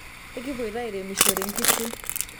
ekipuoito airemishore nkishu